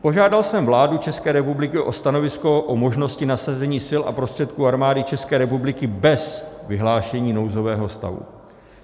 Požádal jsem vládu České republiky o stanovisko k možnosti nasazení sil a prostředků Armády České republiky bez vyhlášení nouzového stavu.